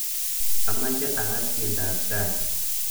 Amache akass tiendoab tai